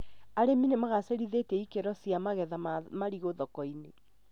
Arĩmi nĩmagacĩrithĩtie ikĩro cia magetha ma marigũ thoko-inĩ